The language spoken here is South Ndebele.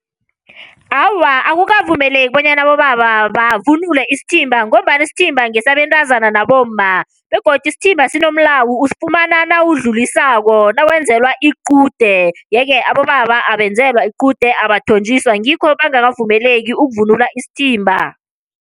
Awa, akukavumeleki bonyana abobaba bavunule isithimba ngombana isithimba ngesabentazana nabomma, begodu isithimba sinomlawo usifumana nawudlulisako nawenzelwa iqude. Yeke abobaba abenzelwa iqude, abathonjiswa ngikho bengakavumeleki ukuvunula isithimba.